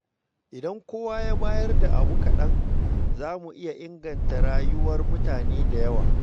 Idan kowa ya bayar da abu kaɗan, za mu iya inganta rayuwar mutane da yawa.